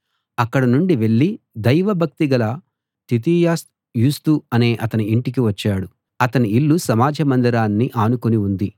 అక్కడ నుండి వెళ్ళి దైవభక్తి గల తితియస్ యూస్తు అనే అతని ఇంటికి వచ్చాడు అతని ఇల్లు సమాజ మందిరాన్ని ఆనుకుని ఉంది